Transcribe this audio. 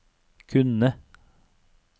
kunne